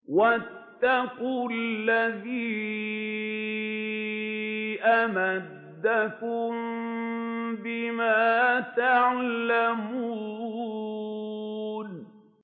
وَاتَّقُوا الَّذِي أَمَدَّكُم بِمَا تَعْلَمُونَ